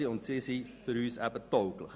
Deswegen sind sie für uns tauglich.